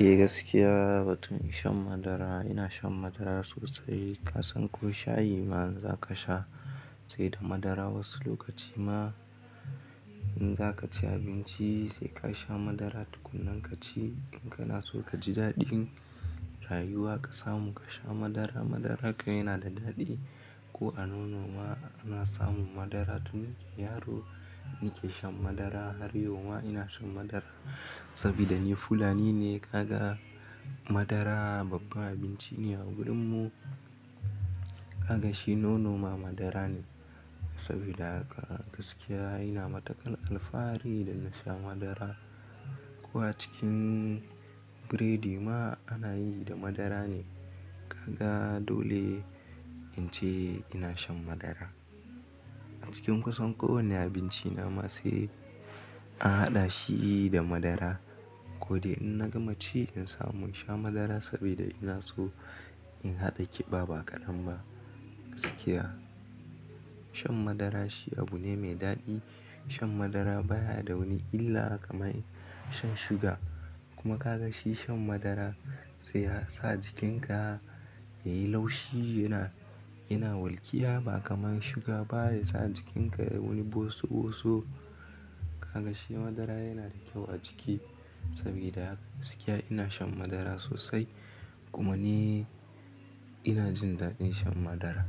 Eh gaskiya, ba tun in sha madara. Ina shan madara sosai. Kasan ko shayi ma za ka sha sai da madara. Wasu lokaci ma in za ka ci abinci sai ka sha madara tukunnan ka ci. In kana so ka ji daɗin rayuwar ka samu ka sha madara. Madara kai yana da daɗi. Ko a nono ma ana samun madara. Tun ni yaro nike shan madara. Har yau ma ina shan madara saboda ni Fulani ne. Kaga madara babban abinci ne a wurinmu. Kaga shi nono ma madara ne saboda haka gaskiya ina matakan alfahari da na sha madara. Ko a cikin biredi ma ana yi da madara ne. Kaga dole in ce ina shan madara. A cikin kusan kowani abinci na ma sai an haɗa shi da madara. Ko dai in na gama ci in samu in sha madara saboda ina so in haɗa ƙiba ba ƙadan ba. Gaskiya shan madara shi abu ne mai daɗi. Shan madara baya da wani illa kamar shan sugar. Kuma ka ga shi shan madara sai ya sa jikinka yayi laushi. Yana, yana walƙiya ba kamar sugar ba ya sa jikinka wani bosu bosu. Kaga shi madara yana da kyau a jiki saboda haka gaskiya ina shan madara sosai. Kuma ni ina jin daɗin shan madara.